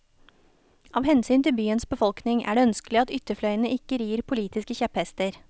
Av hensyn til byens befolkning er det ønskelig at ytterfløyene ikke rir politiske kjepphester.